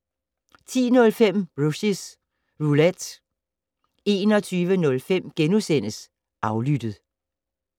10:05: Rushys Roulette 21:05: Aflyttet *